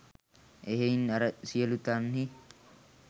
එහෙයින් අර සියලූ තන්හි